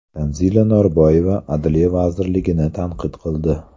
Tanzila Norboyeva Adliya vazirligini tanqid qildi.